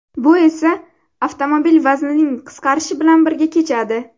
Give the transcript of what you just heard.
Bu esa avtomobil vaznining qisqarishi bilan birga kechadi.